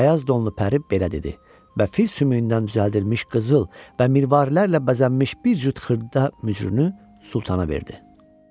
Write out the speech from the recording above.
Bəmbəyaz donlu pəri belə dedi və fil sümüyündən düzəldilmiş qızıl və mirvarilərlə bəzənmiş bir cüt xırda mücrünü Sultana verdi.